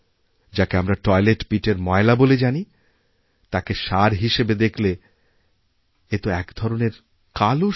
যাকে আমরা টয়লেটপিটএর ময়লা বলে জানি তাকে সার হিসেবে দেখলে এতো এক প্রকারের কালো সোনা